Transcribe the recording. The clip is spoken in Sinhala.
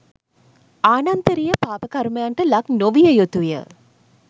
ආනන්තරිය පාප කර්මයන්ට ලක් නොවිය යුතු ය